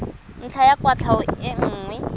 ntlha ya kwatlhao e nngwe